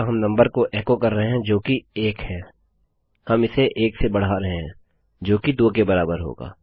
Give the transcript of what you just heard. हम इसे 1 से बढ़ा रहे हैं जोकि 2 के बराबर होगा